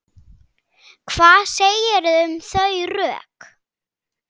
Hvað segirðu um þau rök?